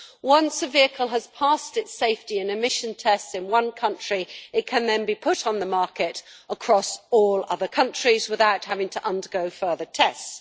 Once a vehicle has passed its safety and emission tests in one country it can then be put on the market across all other countries without having to undergo further tests.